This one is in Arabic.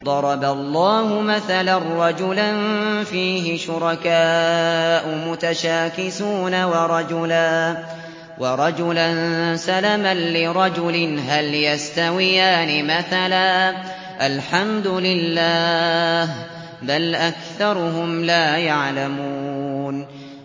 ضَرَبَ اللَّهُ مَثَلًا رَّجُلًا فِيهِ شُرَكَاءُ مُتَشَاكِسُونَ وَرَجُلًا سَلَمًا لِّرَجُلٍ هَلْ يَسْتَوِيَانِ مَثَلًا ۚ الْحَمْدُ لِلَّهِ ۚ بَلْ أَكْثَرُهُمْ لَا يَعْلَمُونَ